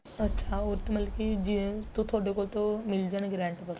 ਅੱਛਾ ਉਹ ਤਾਂ ਮਤਲਬ ਕੀ ਜੇ ਤੁਹਾਡੇ ਕੋਲ ਤੋ ਮਿਲ ਜਾਣਗੇ rent